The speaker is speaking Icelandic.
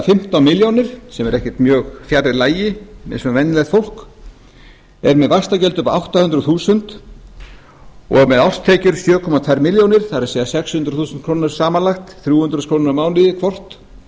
fimmtán milljónir sem er ekkert mjög fjarri lagi með venjulegt fólk er með vaxtagjöld upp á átta hundruð þúsund og með árstekjur sjö komma tvær milljónir það er sex hundruð þúsund krónur samanlagt þrjú hundruð þúsund krónur á mánuði hvort